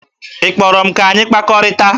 Ị kpọrọ m ka anyị kpakọrịta?